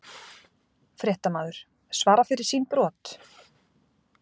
Fréttamaður: Svara fyrir sín brot?